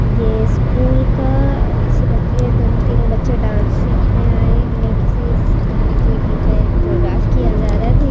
ये स्कूल का किसी बच ये दोनों तीनो बच्चे डांस सिखने आए है गिना किसी गाने के लिए प्रिपेयर कोरियोग्रा किया जा रहा है।